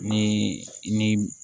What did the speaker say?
Ni ni